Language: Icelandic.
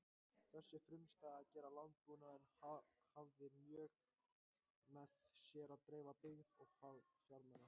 Þessi frumstæða gerð landbúnaðar hafði í för með sér dreifða byggð og fámenna.